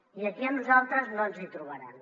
i aquí a nosaltres no ens hi trobaran